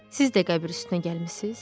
Siz də qəbir üstünə gəlmisiniz?